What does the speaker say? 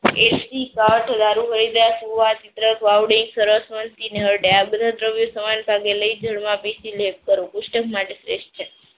વાવડિંગ સરસ્વતી ના હરડે આ બધા જ દ્રવ્ય સમાન ભાગે લઇઝડ માં લેપ કરવો પુસ્થક માટે શ્રેષ્ઠ છે.